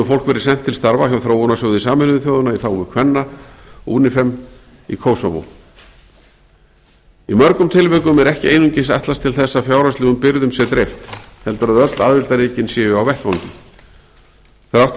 verið sent til starfa hjá þróunarsjóði sameinuðu þjóðanna í þágu kvenna unifem í kosovo í mörgum tilvikum er ekki einungis ætlast til þess að fjárhagslegum byrðum sé dreift heldur að öll aðildarríkin séu á vettvangi þrátt fyrir